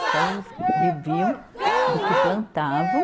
Então, eles viviam do que plantavam